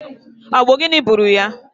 Ọ bụ gịnị gburu ya?